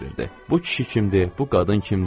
Bu kişi kimdir, bu qadın kimdir?